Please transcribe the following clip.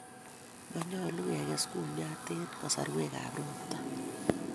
manyolu keges kumyat eng' kasarwekap ropta